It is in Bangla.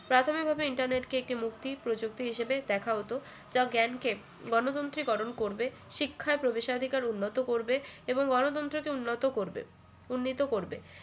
প্রাথমিকভাবে internet কে একটি মুক্তি প্রযুক্তি হিসেবে দেখা হতো যা জ্ঞানকে গণতন্ত্রীকরণ করবে শিক্ষায় প্রবেশাধিকার উন্নত করবে এবং গণতন্ত্রকে উন্নত করবে উন্নীত করবে